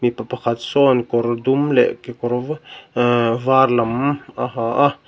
mipa pakhat sawn kawr dum leh kekawr var lam a ha a.